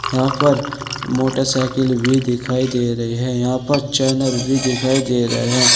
यहां पर मोटरसाइकिल भी दिखाई दे रहे हैं। यहां पर चैनर भी दिखाई दे रहे हैं।